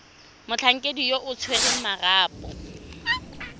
motlhankedi yo o tshwereng marapo